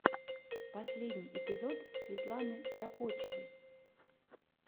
последний эпизод светланы кропочевой